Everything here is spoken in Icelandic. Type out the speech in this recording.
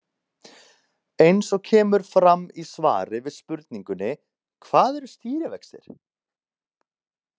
Eins og kemur fram í svari við spurningunni Hvað eru stýrivextir?